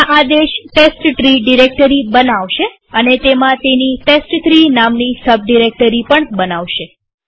આ આદેશ test tree directory બનાવશે અને તેમાં તેની ટેસ્ટ3 નામની સબ ડિરેક્ટરી બનાવશે